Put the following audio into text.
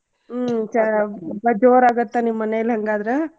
ಹ್ಮ್ ಚ~ ಹಬ್ಬಾ ಜೋರ್ ಆಗತ್ತ ನಿಮ್ಮ್ ಮನೇಲಿ ಹಂಗಾದ್ರ?